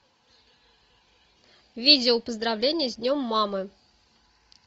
видео поздравление с днем мамы